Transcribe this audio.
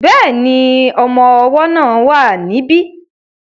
Bẹ́ẹ̀ni, ọmọ ọwọ́ náà wà ní bí